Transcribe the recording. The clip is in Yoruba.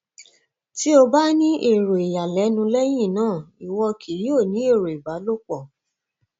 ti o ba ni ero iyalẹnu lẹhin naa iwọ kii yoo ni ero ìbálòpọ